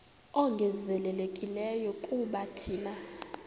ongezelelekileyo kuba thina